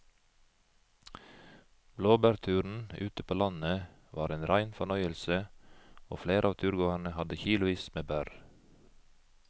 Blåbærturen ute på landet var en rein fornøyelse og flere av turgåerene hadde kilosvis med bær.